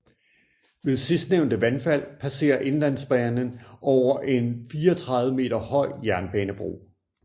Ved sidstnævnte vandfald passerer Inlandsbanan over en 34 meter høj jernbanebro